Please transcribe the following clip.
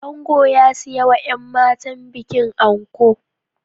Ango ya siyawa yan matan bikin anko